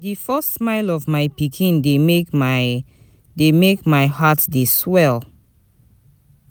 Di first smile of my pikin dey make my dey make my heart dey swell.